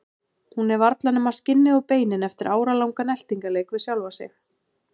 Hún er varla nema skinnið og beinin eftir áralangan eltingarleik við sjálfa sig.